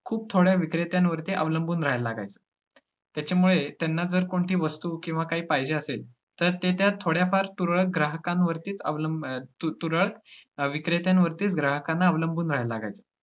खूप थोड्या विक्रेत्यांवरती अवलंबून राहायला लागायचं. ज्याच्यामुळे त्यांना जर कोणती वस्तु किंवा काही पाहिजे असेल तर ते त्या थोड्याफार तुरळक ग्राहकांवरतीच अवलंब~ अं तुरळक विक्रेत्यांवरतीच ग्राहकांना अवलंबुन राहायला लागायचं.